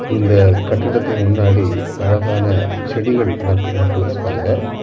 இந்த கட்டிடத்துக்கு முன்னாடி அழகான செடிகள் ந நட்டு வெச்சிருக்காங்க.